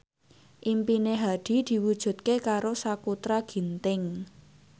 impine Hadi diwujudke karo Sakutra Ginting